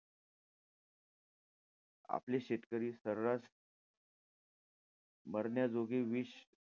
आपले शेतकरी सर्रास मरण्याजोगे विष,